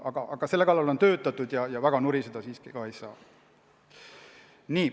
Aga selle kallal on töötatud ja väga nuriseda siiski ei saa.